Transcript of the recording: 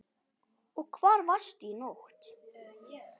Og hvar varstu í nótt?